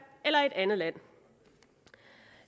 eller i et andet land